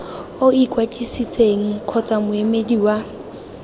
o ikwadisitseng kgotsa moemedi wa